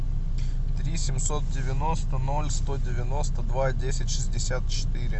три семьсот девяносто ноль сто девяносто два десять шестьдесят четыре